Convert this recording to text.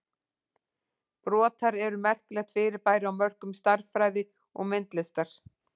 Brotar eru merkilegt fyrirbæri á mörkum stærðfræði og myndlistar.